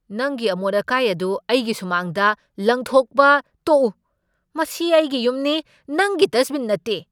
ꯅꯪꯒꯤ ꯑꯃꯣꯠ ꯑꯀꯥꯏ ꯑꯗꯨ ꯑꯩꯒꯤ ꯁꯨꯃꯥꯡꯗ ꯂꯪꯊꯣꯛꯄ ꯇꯣꯛꯎ꯫ ꯃꯁꯤ ꯑꯩꯒꯤ ꯌꯨꯝꯅꯤ, ꯅꯪꯒꯤ ꯗꯁꯠꯕꯤꯟ ꯅꯠꯇꯦ!